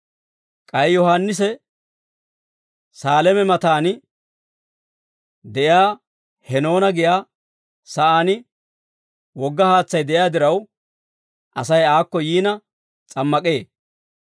K'ay Yohaannisi Saaleeme mataan de'iyaa Henoona giyaa saan wogga haatsay de'iyaa diraw, Asay aakko yiina s'ammak'ee.